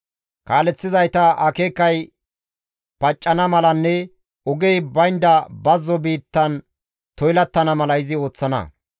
Kaaleththizaytas akeekay paccana malanne ogey baynda bazzo biittan toylattana mala izi ooththana.